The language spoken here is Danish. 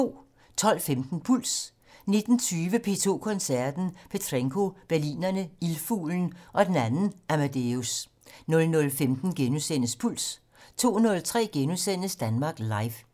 12:15: Puls 19:20: P2 Koncerten - Petrenko, Berlinerne, Ildfuglen og den anden Amadeus 00:15: Puls * 02:03: Danmark Live *